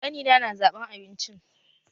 Ƙani na na zaɓan abincin